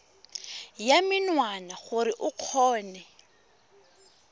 ya menwana gore o kgone